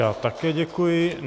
Já také děkuji.